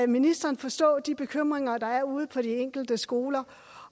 ministeren forstå de bekymringer der er ude på de enkelte skoler